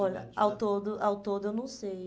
Olha, ao todo ao todo eu não sei.